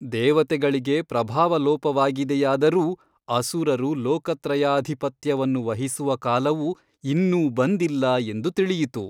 ದೇವತೆಗಳಿಗೆ ಪ್ರಭಾವಲೋಪವಾಗಿದೆಯಾದರೂ ಅಸುರರು ಲೋಕತ್ರಯಾಧಿಪತ್ಯವನ್ನು ವಹಿಸುವ ಕಾಲವು ಇನ್ನೂ ಬಂದಿಲ್ಲ ಎಂದು ತಿಳಿಯಿತು.